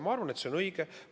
Ma arvan, et see oli õige.